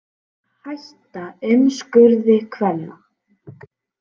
Hætta umskurði kvenna